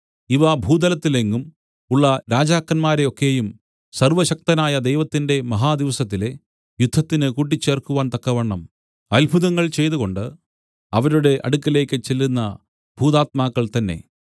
ഇവ ഭൂതലത്തിലെങ്ങും ഉള്ള രാജാക്കന്മാരെ ഒക്കെയും സർവ്വശക്തനായ ദൈവത്തിന്റെ മഹാദിവസത്തിലെ യുദ്ധത്തിന് കൂട്ടിച്ചേർക്കുവാൻ തക്കവണ്ണം അത്ഭുതങ്ങൾ ചെയ്തുകൊണ്ട് അവരുടെ അടുക്കലേക്ക് ചെല്ലുന്ന ഭൂതാത്മാക്കൾ തന്നേ